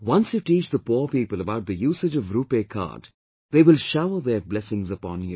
Once you teach the poor people about the usage of Rupay Card, they will shower their blessings upon you